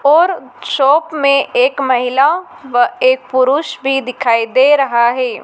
और शॉप में एक महिला व एक पुरुष भी दिखाई दे रहा है।